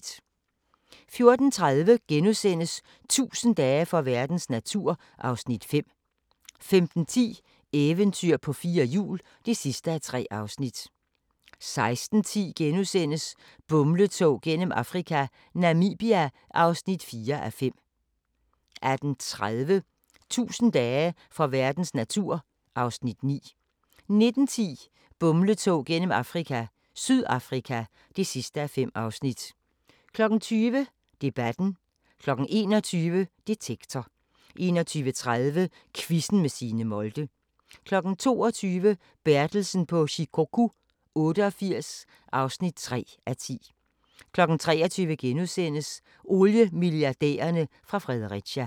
14:30: 1000 dage for verdens natur (Afs. 5)* 15:10: Eventyr på fire hjul (3:3) 16:10: Bumletog gennem Afrika - Namibia (4:5)* 18:30: 1000 dage for verdens natur (Afs. 9) 19:10: Bumletog gennem Afrika – Sydafrika (5:5) 20:00: Debatten 21:00: Detektor 21:30: Quizzen med Signe Molde 22:00: Bertelsen på Shikoku 88 (3:10) 23:00: Oliemilliardærerne fra Fredericia *